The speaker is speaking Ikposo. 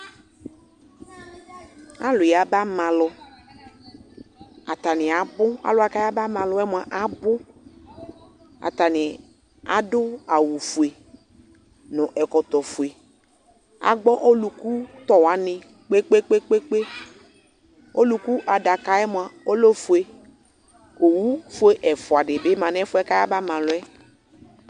Alʋ yaba ma alʋ : atanɩ abʋ ; alʋwa k'ayaba ma alʋɛ mʋa abʋ Atanɩ adʋ awʋfue nʋ ɛkɔtɔfue ; agbɔ olʋkutɔ wanɩ kpekpekpekpe Olʋku adakaɛ mʋa , ɔlɛ ofue ; owufue ɛfʋadɩ bɩ ma n'ɛfʋɛ k'ayaba malʋ yɛ